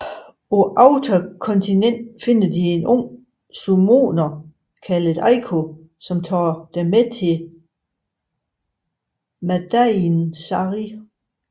På Outer Continent finder de en ung summoner kaldet Eiko som tager dem med til Madain Sari